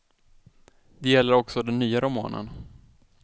Det gäller också den nya romanen.